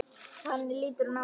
Þannig lítur hún á það.